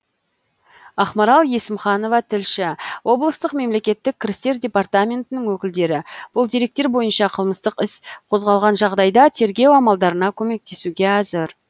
ақмарал есімханова тілші облыстық мемлекеттік кірістер департаментінің өкілдері бұл деректер бойынша қылмыстық іс қозғалған жағдайда тергеу амалдарына көмектесуге әзір